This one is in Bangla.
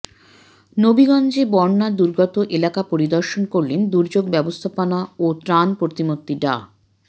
নবীগঞ্জে বন্যা দুর্গত এলাকা পরিদর্শন করলেন দুর্যোগ ব্যবস্থাপনা ও ত্রাণ প্রতিমন্ত্রী ডা